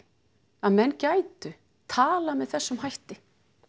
að menn gætu talað með þessum hætti